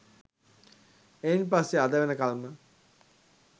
එයින් පස්සේ අද වෙනකල්ම